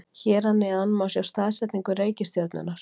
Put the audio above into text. hér að neðan má sjá staðsetningu reikistjörnunnar